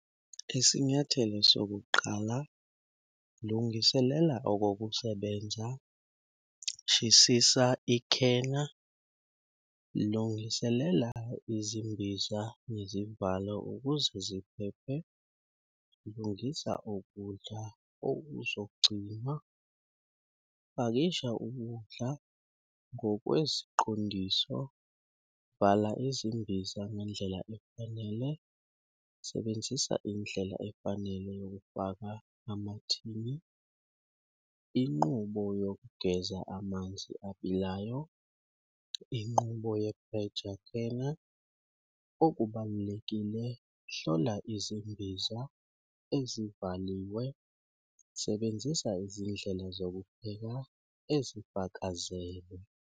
Isinyathelo sokuqala lungiselela okokusebenza, shesisa ikhena, lungiselela izimbiza nezivalo ukuze ziphephe, lungisa ukudla okuzogcina, pakisha ukudla ngokweziqondiso, vala izimbiza ngendlela efanele, sebenzisa indlela efanele yokufaka amathini. Inqubo yokugeza amanzi abilayo, inqubo yephreja khena. Okubalulekile hlola izimbiza ezivaliwe, sebenzisa izindlela zokupheka ezifakazelwe.